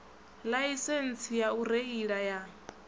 ḽaisentsi ya u reila ya